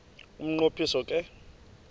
umnqo phiso ke